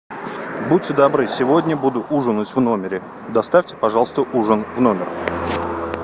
будьте добры сегодня буду ужинать в номере доставьте пожалуйста ужин в номер